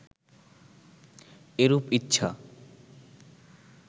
এরূপ ইচ্ছা